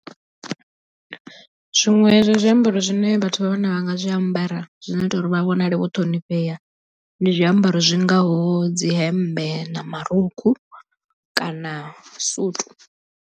Zwiṅwe zwa zwiambaro zwine vhathu vha vhanna vha nga zwiambara zwino ita uri vha vhonale vho ṱhonifhea ndi zwiambaro zwingaho dzi hemmbe na marukhu kana suthu.